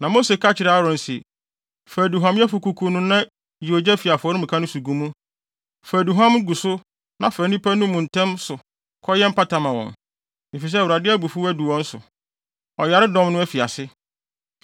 Na Mose ka kyerɛɛ Aaron se, “Fa aduhuamyɛfo kuku no na yi ogya fi afɔremuka no so gu mu. Fa aduhuam gu so na fa nnipa no mu ntɛm so fa kɔyɛ mpata ma wɔn, efisɛ Awurade abufuw adu wɔn so. Ɔyaredɔm no afi ase.”